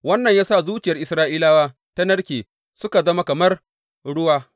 Wannan ya sa zuciyar Isra’ilawa ta narke suka zama kamar ruwa.